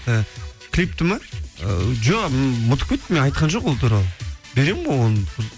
і клипті ме ы жоқ м ұмытып кеттім мен айтқан жоқ ол туралы беремін ғой оны